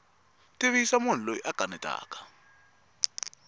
tivisa munhu loyi a kanetaka